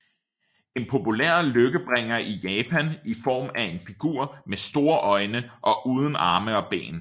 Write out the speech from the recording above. er en populær lykkebringer i Japan i form af en figur med store øjne og uden arme og ben